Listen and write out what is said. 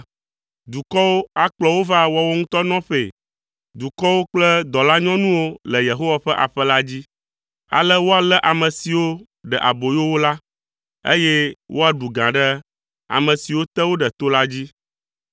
Dukɔwo akplɔ wo va woawo ŋutɔ nɔƒee. Dukɔwo kple dɔlanyɔnuwo le Yehowa ƒe aƒe la dzi. Ale woalé ame siwo ɖe aboyo wo la, eye woaɖu gã ɖe ame siwo te wo ɖe to la dzi.